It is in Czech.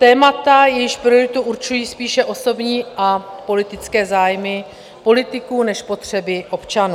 Témata, jejichž prioritu určují spíše osobní a politické zájmy politiků než potřeby občanů.